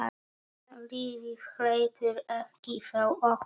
Lífið hleypur ekki frá okkur.